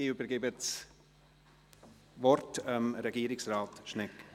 Ich übergebe das Wort Regierungsrat Schnegg.